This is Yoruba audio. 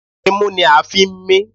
Imú ni a ń fi ń mí